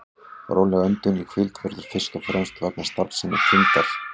Róleg öndun í hvíld verður fyrst og fremst vegna starfsemi þindar.